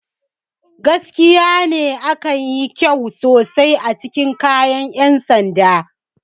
Gaskiya ne, ka yi kyau sosai cikin kayan 'yan sanda.